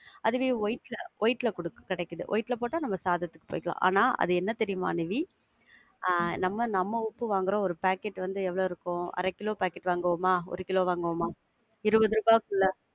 அதுவே white ல white ல கூட கெடைக்குது. white ல போட்டா நாம சாதத்துக்கு ஆனா அது என்ன தெரியுமா நிவி, அஹ் நம்ம நாம உப்ப வாங்குறோம் ஒரு packet வந்து எவ்வளவு இருக்கும்? அர கிலோ packet வாங்குவோமா? ஒரு கிலோ வாங்குவோமா? இருபது ரூபாய்க்குள்ள.